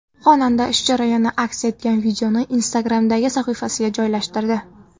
Xonanda ish jarayoni aks etgan videoni Instagram’dagi sahifasiga joylashtirdi.